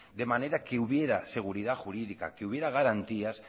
de manera que hubiera seguridad jurídica que hubiera garantías